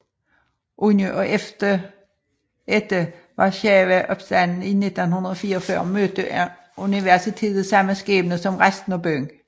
Under og efter Warszawaopstanden i 1944 mødte universitetet samme skæbne som resten af byen